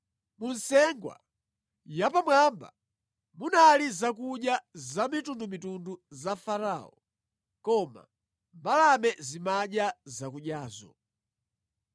Mu nsengwa yapamwamba munali zakudya zamitundumitundu za Farao, koma mbalame zimadya zakudyazo.”